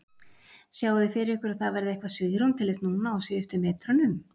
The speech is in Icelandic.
Sjáið þið fyrir ykkur að það verði eitthvað svigrúm til þess núna á síðustu metrunum?